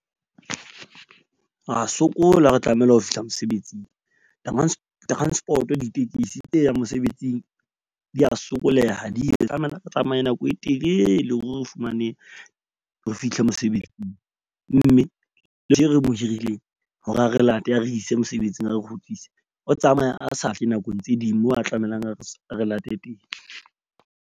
Ra sokola ha re tlamehile ho fihla mosebetsing. Transport-o ditekesi tse yang mosebetsing di ya sokoleha di tlamela di tsamaye nako e telele hore re fumanehe, re fihle mosebetsing. Mme le hirileng hore a re late a re ise mosebetsing a re kgutlise o tsamaya a sa tle nakong tse ding, moo a tlamelang a re late teng.